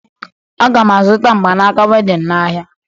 Aga m azụta mgbanaaka wedịn n'ahịa